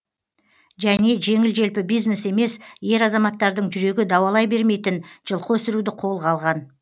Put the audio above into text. және жеңіл желпі бизнес емес ер азаматтардың жүрегі дауалай бермейтін жылқы өсіруді қолға алған